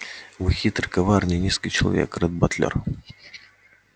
вы хитрый коварный низкий человек ретт батлер